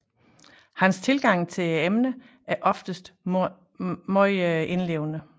Hans tilgang til emnerne er oftest meget indlevende